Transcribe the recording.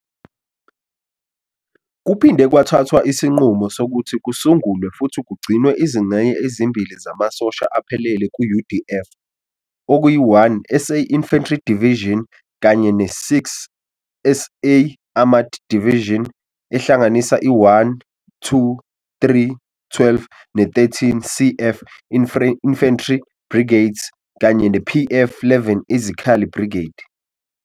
Kuphinde kwathathwa isinqumo sokuthi kusungulwe futhi kugcinwe izingxenye ezimbili zamasosha aphelele ku-UDF okuyi-1 SA Infantry Division kanye ne-6 SA Armored Division, ehlanganisa i-1, 2, 3, 12, ne-13, CF Infantry Brigades kanye ne-PF,11 Izikhali Brigade.